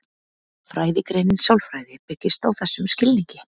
Fræðigreinin sálfræði byggist á þessum skilningi.